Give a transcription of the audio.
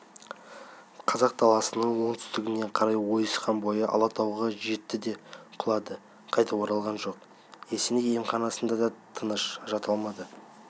қазақ даласының оңтүстігіне қарай ойысқан бойы алатауға жетті де құлады қайтып оралған жоқ есеней емханасында да тыныш жата алмады